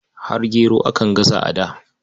Har gero akan gasa a da.